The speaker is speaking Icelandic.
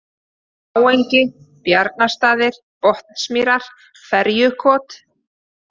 Bláengi, Bjarnarstaðir, Botnsmýrar, Ferjukot